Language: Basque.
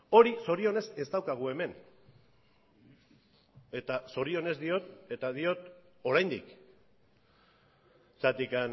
hori zorionez ez daukagu hemen eta zorionez diot eta diot oraindik zergatik